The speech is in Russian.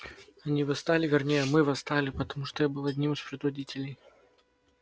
они восстали вернее мы восстали потому что я был одним из предводителей